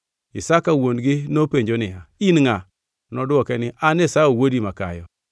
Isaka wuon-gi nopenjo niya, “In ngʼa?” Nodwoke niya, “An Esau, wuodi makayo.”